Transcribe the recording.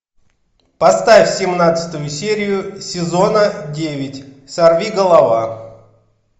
поставь семнадцатую серию сезона девять сорвиголова